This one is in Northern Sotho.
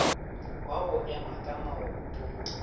wa go ema ka maoto